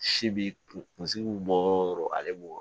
Si bi kunsigi bi bɔ yɔrɔ o yɔrɔ ale b'o